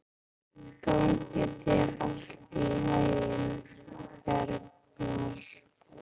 Gangi þér allt í haginn, Bergmar.